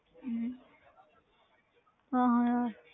ਹਮ ਹਾਂ ਹਾਂ ਯਾਰ